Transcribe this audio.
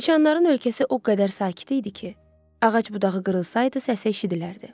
Siçanların ölkəsi o qədər sakit idi ki, ağac budağı qırılsaydı səsi eşidilərdi.